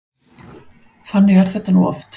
Þannig er þetta nú oft.